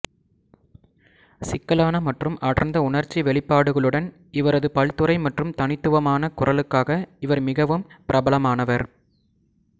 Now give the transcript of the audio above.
சிக்கலான மற்றும் அடர்ந்த உணர்ச்சி வெளிப்பாடுகளுடன் இவரது பல்துறை மற்றும் தனித்துவமான குரலுக்காக இவர் மிகவும் பிரபலமானவர்